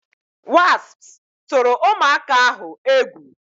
Wasps tụrụ ụmụaka ahụ egwu